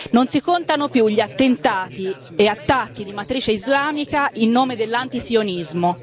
Non si contano più gli attentati e attacchi di matrice islamica in nome dell'antisionismo.